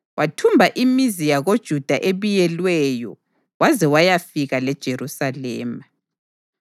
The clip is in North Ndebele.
wathumba imizi yakoJuda ebiyelweyo waze wayafika leJerusalema.